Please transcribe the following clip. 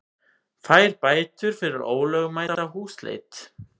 Fær bætur fyrir ólögmæta húsleit